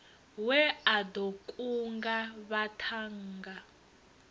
we a ḓo kunga vhaṱhannga